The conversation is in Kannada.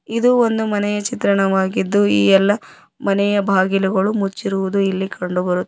ಇದು ಒಂದು ಮನೆಯ ಚಿತ್ರಣವಾಗಿದ್ದು ಈ ಎಲ್ಲ ಮನೆಯ ಬಾಗಿಲುಗಳು ಮುಚ್ಚಿರುವುದು ಇಲ್ಲಿ ಕಂಡು ಬರು--